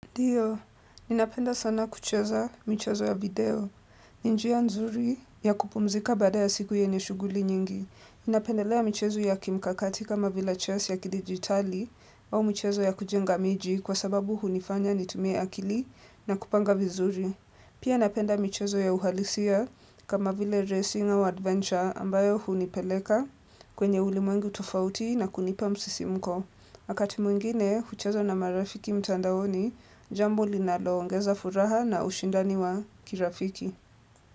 Ndio, ninapenda sana kucheza michezo ya video. Ni njia nzuri ya kupumzika baada ya siku yenye shuguli nyingi. Ninapendelea michezo ya kimkakati kama vila chess ya kidigitali au michezo ya kujenga miji kwa sababu hunifanya nitumie akili na kupanga vizuri. Pia napenda michezo ya uhalisia kama vile racing au adventure ambayo hunipeleka kwenye ulimwengu tofauti na kunipa msisimko. Wakati mwingine, hucheza na marafiki mtandaoni, jambo linaloongeza furaha na ushindani wa kirafiki.